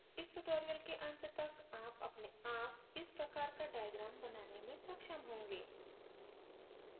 इस tutorial के at तक आप अपने आप इस प्रकार का diagram बनाने में सक्षम होंगे